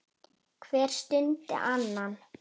Hver studdi annan.